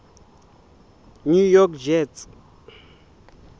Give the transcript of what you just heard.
new york jets